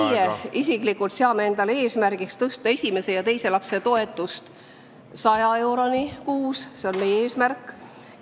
Meie isiklikult seame endale eesmärgiks tõsta esimese ja teise lapse toetus 100 eurole kuus, see on meie eesmärk.